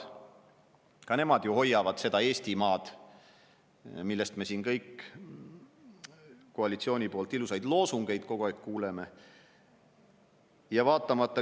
Ka nemad hoiavad seda Eestimaad, mille kohta me siin koalitsioonilt kogu aeg ilusaid loosungeid kuuleme.